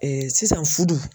sisan fudu